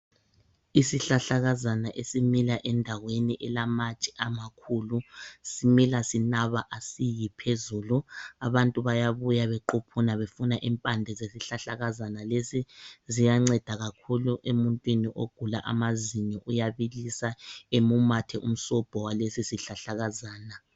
Isihlahlakazana esimila endaweni elamatshe amakhulu simila sinaba asiyi phezulu abantu bayabuya bequphuna befuna impande zesihlahlakazana lesi ziyanceda kakhulu emuntwini ogula amazinyo uyabilisa emumathe umsobho walesi sihlahlakazana.